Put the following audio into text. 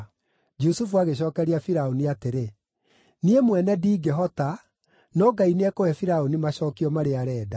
Jusufu agĩcookeria Firaũni atĩrĩ, “Niĩ mwene ndingĩhota, no Ngai nĩekũhe Firaũni macookio marĩa arenda.”